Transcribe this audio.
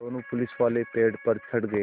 दोनों पुलिसवाले पेड़ पर चढ़ गए